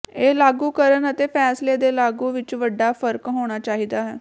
ਇਹ ਲਾਗੂ ਕਰਨ ਅਤੇ ਫ਼ੈਸਲੇ ਦੇ ਲਾਗੂ ਵਿਚ ਵੱਡਾ ਫ਼ਰਕ ਹੋਣਾ ਚਾਹੀਦਾ ਹੈ